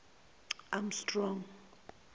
amstrong